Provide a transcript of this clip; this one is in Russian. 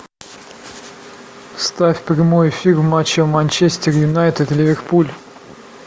ставь прямой эфир матча манчестер юнайтед ливерпуль